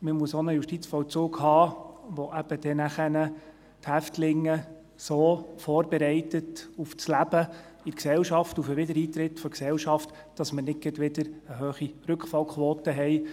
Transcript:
Man muss auch einen Justizvollzug haben, der dann eben die Häftlinge so auf das Leben in der Gesellschaft vorberei tet, auf den Wiedereintritt in die Gesellschaft, dass wir nicht gerade wieder eine hohe Rückfallquote haben.